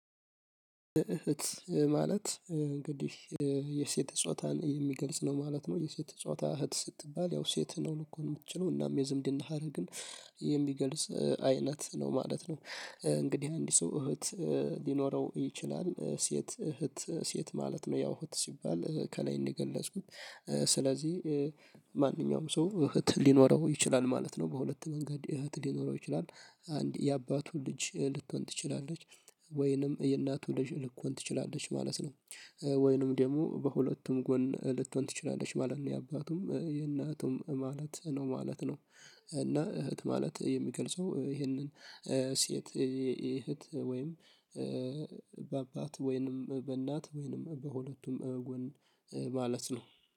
እህት ማለት እንግዲህ የሴት ጾታን የሚገልጽ ነው ማለት ነው የሴት ጾታ እህት ስትባል ያው ሴት ነው ልኮን የምትችለው እናም የዝምድና ሀረግን የሚገልጽ አይነት ነው ማለት ነው። እንግዲህ አንዲ ሰው እህት ሊኖረው ይችላል ሴት እህት ሴት ማለት ነው ያው እህት ሲባል ከላይ እንደገለጽኩት። ስለዚህ ማንኛውም ሰው እህት ሊኖረው ይችላል ማለት ነው። በሁለት መንገድ እህት ሊኖረው ይችላል አንድ የአባቱ ልጅ ልትሆን ትችላለች። ወይንም የእናቱ ልጅ ልትሆን ትችላለች ማለት ነው። ወይንም ደግሞ በሁለቱም ጎን ልትሆን ትችላለች ማለት ነው የአባቱም የእናቱም ማለት ነው ማለት ነው። እና እህት ማለት የሚገልጸው ይህንን ሴት እህት ወይም በአባት ወይንም በእናት ወይንም በሁለቱም ጎን ማለት ነው